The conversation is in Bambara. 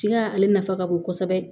Tiga ale nafa ka bon kosɛbɛ